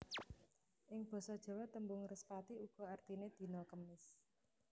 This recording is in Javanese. Ing basa Jawa tembung Respati uga artiné dina Kemis